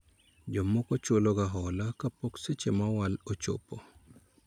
Jomoko chulo ga hola kapok seche ma owal ochopo